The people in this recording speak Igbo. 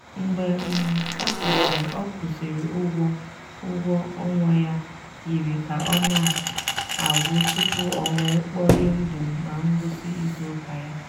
mgbe um ọ kwụsịrị ọ kwụsịrị ụgwọ ụgwọ ọnwa ya yiri ka ọ na-agwụ tupu o wee kporie ndụ na ngwụsị izu ụka ya.